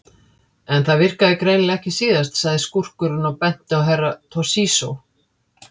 En það virkaði greinilega ekki síðast, sagði skúrkurinn og benti á Herra Toshizo.